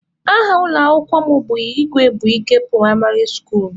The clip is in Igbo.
Aha ụlọ akwụkwọ mụ bụ Igwebuike pụraịmarị skuulu.